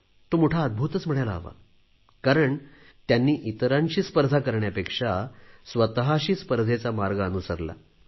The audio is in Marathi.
तो मोठा अद्भूत म्हणायला हवा कारण त्यांनी इतरांशी स्पर्धा करण्यापेक्षा स्वतशी स्पर्धेचा मार्ग अनुसरला